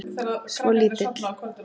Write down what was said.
Svo lítill.